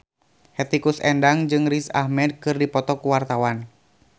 Hetty Koes Endang jeung Riz Ahmed keur dipoto ku wartawan